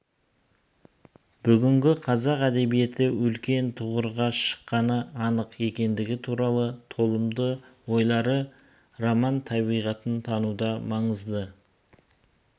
бүгінгі қазақ әдебиеті үлкен тұғырға шыққаны анық екенідігі туралы толымды ойлары роман табиғатын тануда маңызды